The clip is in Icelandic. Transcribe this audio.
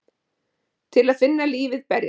Til að finna lífið berjast.